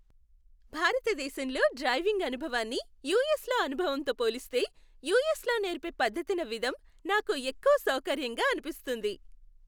భారతదేశంలో డ్రైవింగ్ అనుభవాన్ని యుఎస్లో అనుభవంతో పోలిస్తే, యుఎస్లో నేర్పే పద్ధతిన విధం నాకు ఎక్కువ సౌకర్యంగా అనిపిస్తుంది.